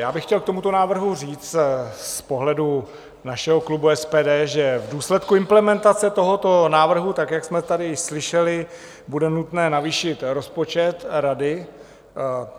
Já bych chtěl k tomuto návrhu říct z pohledu našeho klubu SPD, že v důsledku implementace tohoto návrhu, tak jak jsme tady slyšeli, bude nutné navýšit rozpočet Rady,